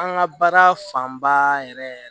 An ka baara fanba yɛrɛ yɛrɛ